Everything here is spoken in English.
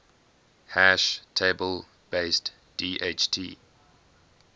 hash table based dht